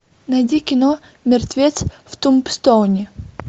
найди кино мертвец в тумбстоуне